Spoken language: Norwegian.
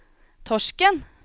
Torsken